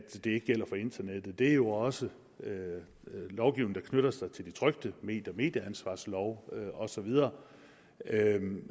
ikke gælder for internettet det er jo også lovgivningen der knytter sig til de trykte medier medieansvarsloven og så videre